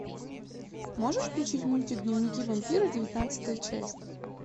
можешь включить мультик дневники вампира девятнадцатая часть